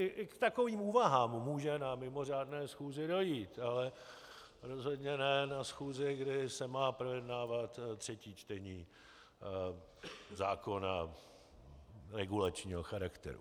I k takovým úvahám může na mimořádné schůzi dojít, ale rozhodně ne na schůzi, kdy se má projednávat třetí čtení zákona regulačního charakteru.